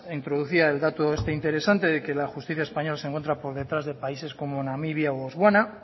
introducía el dato este interesante de que la justicia española se encuentra por detrás de países como namibia o botsuana